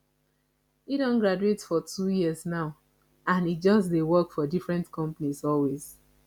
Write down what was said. he don graduate for two years now and he just dey work for different companies always